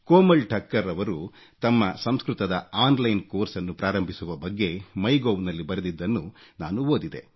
ಕೋಮಲ್ ಠಕ್ಕರ್ ರವರು ತಮ್ಮ ಸಂಸ್ಕೃತದ ಆನ್ಲೈನ್ ಕೋರ್ಸ್ ನ್ನು ಪ್ರಾರಂಭಿಸುವ ಬಗ್ಗೆ ಒಥಿಉov ನಲ್ಲಿ ಬರೆದಿದ್ದನ್ನು ನಾನು ಓದಿದೆ